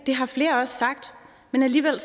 det har flere også sagt men alligevel